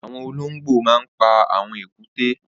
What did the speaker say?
Awọn ọlọngbó mà n pà awọn ékùté